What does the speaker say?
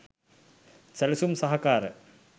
සැලසුම් සහකාර